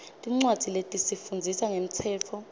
tincwadzi letifundzisa ngemtsetfo